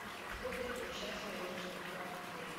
работает ли сейчас веревочный парк в отеле